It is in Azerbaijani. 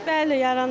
Bəli, yaranır.